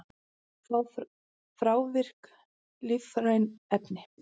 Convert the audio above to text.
Þrávirk lífræn efni